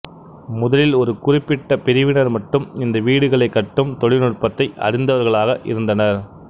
முதலில் ஒரு குறிப்பிட்ட பிரிவினர் மட்டும் இந்த வீடுகளை கட்டும் தொழில்நுட்பத்தை அறிந்தவர்களாக இருந்தனர்